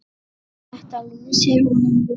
Þetta lýsir honum vel.